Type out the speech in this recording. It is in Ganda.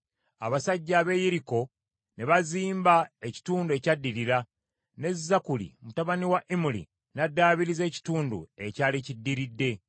Abasajja ab’e Yeriko ne bazimba ekitundu ekyaddirira, ne Zakkuli mutabani wa Imuli n’addaabiriza ekitundu ekyali kiddiridde.